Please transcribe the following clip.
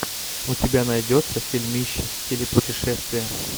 у тебя найдется фильмище в стиле путешествия